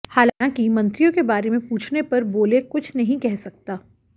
हालांकि मंत्रियों के बारे में पूछने पर बोले कुछ नहीं कह सकता